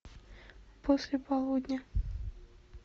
после полудня